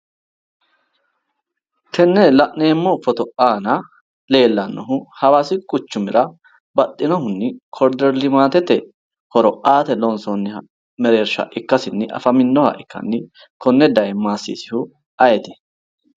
Tenne la'neemmo footo aana leellannohu hawaasi quchumira baxxinohunni koriider limaate horo aate loonsoonniha mereershsha ikkasinni afaminoha ikkasinna konne daye maasiisihu ayeeti?